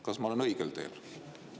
Kas ma olen õigel teel?